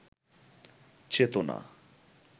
চেতনা